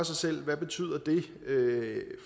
sig selv hvad det betyder